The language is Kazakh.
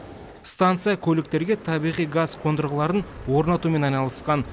станция көліктерге табиғи газ қондырғыларын орнатумен айналысқан